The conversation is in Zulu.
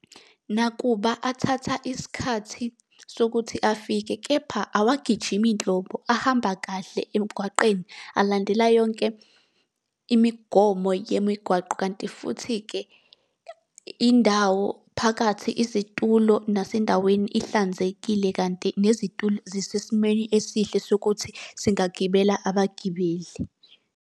Nakuba athatha isikhathi sokuthi afike, kepha awagijimi nhlobo ahamba kahle emgwaqeni, alandela yonke imigomo yemigwaqo. Kanti futhi-ke indawo phakathi, izitulo, nasendaweni ihlanzekile, kanti nezitulo zisesimweni esihle sokuthi singagibela abagibeli.